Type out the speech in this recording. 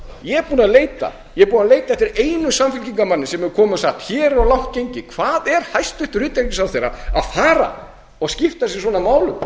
búinn að leita ég er búinn að leita eftir einum samfylkingarmanni sem hefur komið og sagt hér er of langt gengið hvað er hæstvirtur utanríkisráðherra að fara og skipta sér svona af málum